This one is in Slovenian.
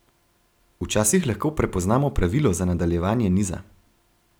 Včasih lahko prepoznamo pravilo za nadaljevanje niza.